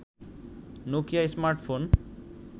Nokia smartphone